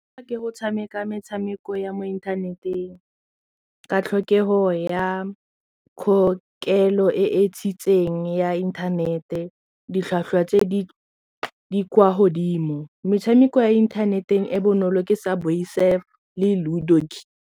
Ke go tshameka metshameko ya mo inthaneteng ka tlhokego ya kgokelo e e tshikeng ya inthanete ditlhwatlhwa tse di kwa godimo metshameko ya internet-e e bonolo ke Subway Surf le Ludo.